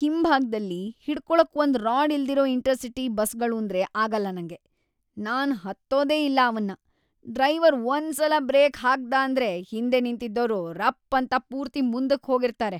ಹಿಂಭಾಗ್ದಲ್ಲಿ ಹಿಡ್ಕೊಳಕ್‌ ಒಂದ್ ರಾಡ್ ಇಲ್ದಿರೋ ಇಂಟರ್‌-ಸಿಟಿ ಬಸ್ಗಳೂಂದ್ರೇ ಆಗಲ್ಲ ನಂಗೆ, ನಾನ್‌ ಹತ್ತೋದೇ ಇಲ್ಲ ಅವನ್ನ. ಡ್ರೈವರ್‌ ಒಂದ್ಸಲ ಬ್ರೇಕ್‌ ಹಾಕ್ದಾಂದ್ರೆ ಹಿಂದೆ ನಿಂತಿದ್ದೋರು ರಪ್ಪಂತ ಪೂರ್ತಿ ಮುಂದುಕ್‌ ಹೋಗಿರ್ತಾರೆ.